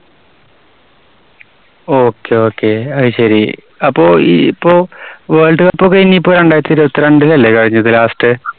Okay, Okay അതുശരി. അപ്പോ ഈ ഇപ്പോ വേൾഡ് കപ്പൊക്കെ ഇനി ഇപ്പോ രണ്ടായിരത്തി ഇരുപത്തിരണ്ടിലല്ലേ കഴിഞ്ഞത് last?